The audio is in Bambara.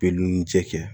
Be nun ci kɛ kɛ